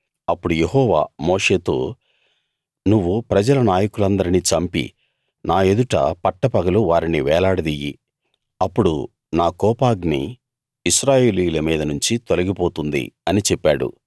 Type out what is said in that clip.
అప్పుడు యెహోవా మోషేతో నువ్వు ప్రజల నాయకులందర్నీ చంపి నా ఎదుట పట్టపగలు వారిని వేలాడదియ్యి అప్పుడు నా కోపాగ్ని ఇశ్రాయేలీయుల మీద నుంచి తొలిగి పోతుంది అని చెప్పాడు